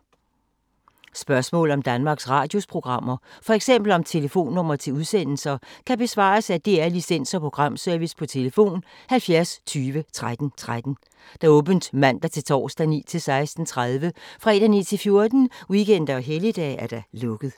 Spørgsmål om Danmarks Radios programmer, f.eks. om telefonnumre til udsendelser, kan besvares af DR Licens- og Programservice: tlf. 70 20 13 13, åbent mandag-torsdag 9.00-16.30, fredag 9.00-14.00, weekender og helligdage: lukket.